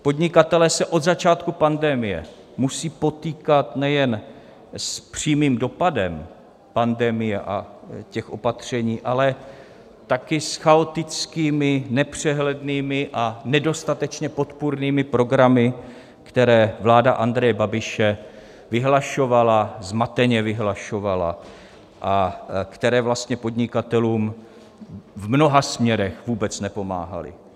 Podnikatelé se od začátku pandemie musí potýkat nejen s přímým dopadem pandemie a těch opatření, ale také s chaotickými, nepřehlednými a nedostatečně podpůrnými programy, které vláda Andreje Babiše vyhlašovala, zmateně vyhlašovala, a které vlastně podnikatelům v mnoha směrech vůbec nepomáhaly.